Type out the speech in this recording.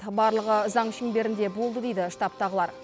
барлығы заң шеңберінде болды дейді штабтағылар